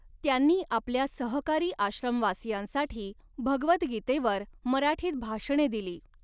त्यांनी आपल्या सहकारी आश्रमवासियांसाठी भगवद्गीतेवर मराठीत भाषणे दिली.